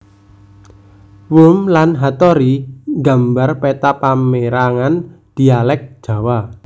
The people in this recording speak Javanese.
Wurm lan Hattori nggambar peta pamérangan dhialèk Jawa